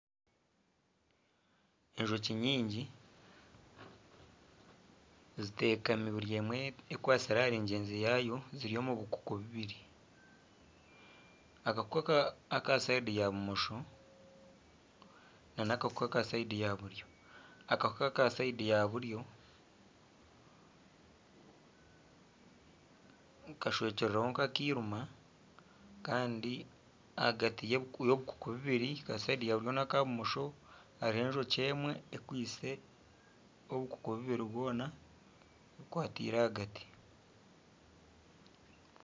Enjoki nyingi zitekami buri emwe ekwatsire ahari ngyenzi yaayo ziri omu bukuku bubiri. Akakuku aka sayidi ya bumosho na akakuku aka sayidi ya buryo. Akakuku aka sayidi ya buryo kashwekirweho nka akairima Kandi ahagati y'obukuku buburi aka sayidi ya buryo ne ya bumosho hariho enjoki emwe ekwitse obukuku bubiri bwoona ebukwatiire ahagati.